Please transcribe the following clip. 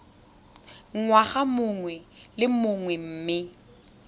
ngwaga mongwe le mongwe mme